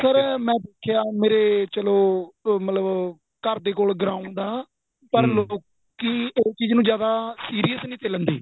ਪਰ sir ਮੈਂ ਦੇਖਿਆ ਮੇਰੇ ਚਲੋਂ ਮਤਲਬ ਘਰ ਦੇ ਕੋਲ ground ਆ ਪਰ ਲੋਕੀ ਏ ਚੀਜ਼ ਨੂੰ ਜਿਆਦਾ serious ਨਹੀਂ ਸੀ ਲਿੰਦੇ